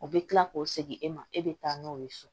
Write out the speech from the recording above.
O bɛ kila k'o segin e ma e bɛ taa n'o ye so